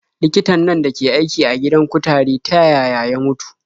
Likitan nan dake aiki a gidan kutare ta yaya ya mutu?